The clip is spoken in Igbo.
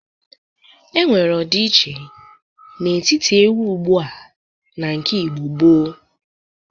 Enwere ọdịiche n'etiti egwu ugbu a na nke Igbo gboo.